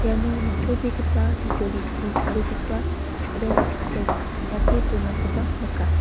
iano nitobegipa bijolichi tarigipa ching·ret ching·chet teng·ate donakoba nika.